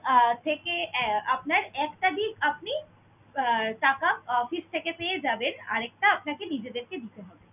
আহ থেকে আহ আপনার এক তারিখ আপনি আহ টাকা office থেকে পেয়ে যাবেন, আরেকটা আপনাকে আপনাদেরকে নিজেদের কে দিতে হবে।